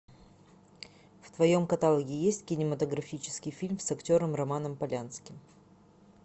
в твоем каталоге есть кинематографический фильм с актером романом полянским